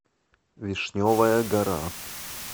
вишневая гора